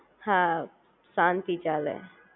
હા શાંતિ ચાલે